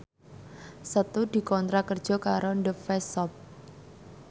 Setu dikontrak kerja karo The Face Shop